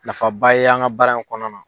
Nafaba ye an ka baara in kɔnɔna na.